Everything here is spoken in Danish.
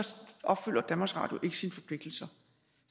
opfylder danmarks radio ikke sine forpligtelser